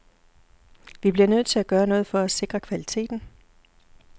Vi bliver nødt til at gøre noget for at sikre kvaliteten.